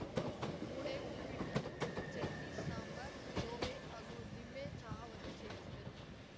ಮೂಡೆ ಉಪ್ಪಿಟ್ಟು ಚಟ್ನಿ ಸಾಂಬಾರ್‌ ತೋವೆ ಹಾಗೂ ಲಿಂಬೆ ಚಹಾವನ್ನು ಸೇವಿಸಿದರು